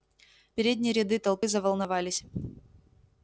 передние ряды толпы заволновались